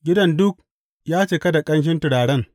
Gidan duk ya cika da ƙanshin turaren.